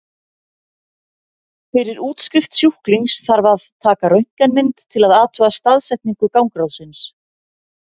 Fyrir útskrift sjúklings þarf að taka röntgenmynd til að athuga staðsetningu gangráðsins.